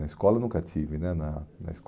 Na escola eu nunca estive né na na